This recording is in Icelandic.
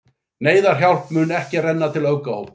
Neyðarhjálp mun ekki renna til öfgahópa